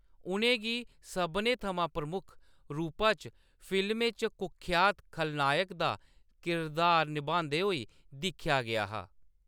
उ`नें गी सभनें थमां प्रमुख रूपा च फिल्में च कुख्यात खलनायक दा किरदार नभांदे होई दिक्खेआ गेआ हा।